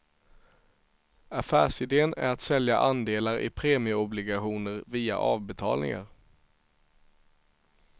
Affärsidén är att sälja andelar i premieobligationer via avbetalningar.